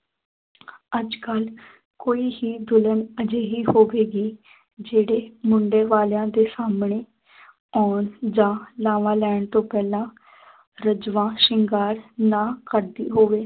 ਅੱਜ ਕੱਲ੍ਹ ਕੋਈ ਹੀ ਦੁਲਹਨ ਅਜਿਹੀ ਹੋਵੇਗੀ ਜਿਹੜੇ ਮੁੰਡੇ ਵਾਲਿਆਂ ਦੇ ਸਾਹਮਣੇ ਆਉਣ ਜਾਂ ਲਾਵਾਂ ਲੈਣ ਤੋਂ ਪਹਿਲਾਂ ਰੱਜਵਾ ਸ਼ਿੰਗਾਰ ਨਾ ਕਰਦੀ ਹੋਵੇ